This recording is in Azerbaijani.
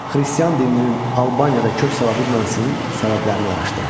Xristian dininin Albaniyada kök sala bilməməsinin səbəblərini araşdırın.